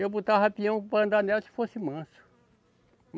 Eu botava peão para andar nela se fosse manso.